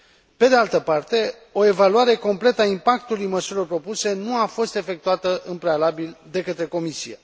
Pe de altă parte, o evaluare completă a impactului măsurilor propuse nu a fost efectuată în prealabil de către Comisie.